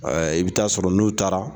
I bɛ taa sɔrɔ n'u taara